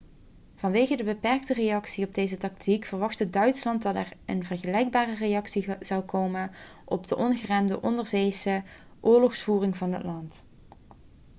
vanwege de beperkte reactie op deze tactiek verwachtte duitsland dat er een vergelijkbare reactie zou komen op de ongeremde onderzeese oorlogsvoering van het land